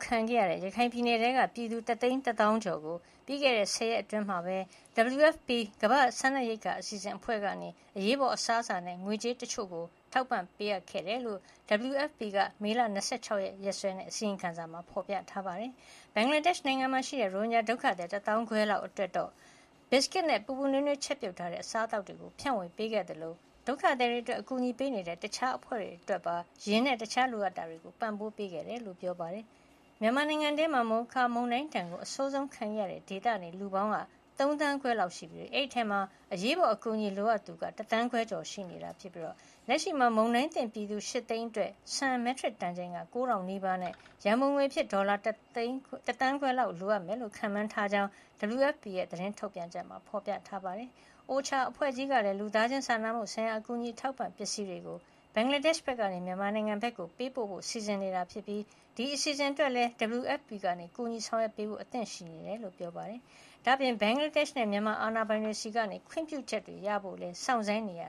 ခံခဲ့ရတဲ့ ရခိုင်ပြည်နယ်ထဲက ပြည်သူ (၁၁၆,၀၀၀)နီးပါးကို ပြီးခဲ့တဲ့ (၁၀)ရက်အတွင်း WFP ကမ္ဘာ့ စားနပ်ရိက္ခာအစီအစဉ်အဖွဲ့က အရေးပေါ် အစားအစာနဲ့ ငွေကြေးတချို့ ပေးအပ်ခဲ့တယ်လို့ WFP က မေလ(၂၆)ရက် အစီရင်ခံစာမှာ ဖေါ်ပြထားပါတယ်။ ဘင်္ဂလားဒေ့ရှ်နိုင်ငံမှာရှိတဲ့ ရိုဟင်ဂျာဒုက္ခသည် ၁ သောင်းခွဲလောက် အတွက်လည်း ဘီစကွတ်နဲ့ ပူပူနွေးနွေး ချက်ပြုတ်ထားတဲ့ အစားသောက်တွေ ဖြန့်ေ၀ ပေးခဲ့သလို ဒုက္ခသည်တွေအတွက် အကူညီပေးနေတဲ့ တခြားအဖွဲ့တွေ အတွက်ပါ ယာဉ်နဲ့ တခြားလိုအပ်တာတွေ ပံ့ပိုးပေးခဲ့တယ်လို့ ပြောပါတယ်။ မြန်မာနိုင်ငံတွင်း မိုခါ မုန်တိုင်းဒဏ် အဆိုးဆုံးခဲခဲ့ရတဲ့ ဒေသနေ လူပေါင်း ၃ သန်းခွဲလောက်ထဲက အရေးပေါ်အကူညီလိုအပ်သူက ၁ သန်းခွဲ ကျော်ရှိနေပြီး ၊ လက်ရှိမှာ မုန်တိုင်းသင့်ပြည်သူ (၈)သိန်းအတွက် ဆန် မက်ထရစ်တန်ချိန် ၉၀၀၀ နီးပါးနဲ့ ရံပုံငွေ ဒေါ်လာ ၁ သန်းခွဲလောက် လိုအပ်မယ်လို့ ခန့်မှန်းထားကြောင်း WFP ရဲ့ သတင်းထုတ်ပြန်ချက်ထဲမှာ ဖေါ်ပြထားပါတယ်။ OCHA အဖွဲ့ကြီးကလည်း လူသားချင်းစာနာမှုဆိုင်ရာ အကူအညီ အထောက်အပံ့ ပစ္စည်းတွေကို ဘင်္ဂလားဒေ့ရ်နိုင်ငံကနေ မြန်မာနိုင်ငံဖက်ကို ပို့ပေးဖို့ စီစဉ်နေပြီး ဒီ အစီအစဉ်တွေအတွက် WFP က ကူညီဆောင်ရွက်ပေးဖို့ အသင့်ရှိနေကြောင်းလည်း ပြောပါတယ်။ ဒါ့အပြင် ဘင်္ဂလားဒေ့ရှ်နဲ့ မြန်မာ အာဏာပိုင်တွေဆီက ခွင့်ပြုချက်တွေ ရဖို့လည်း စောင်းဆိုင်းနေရ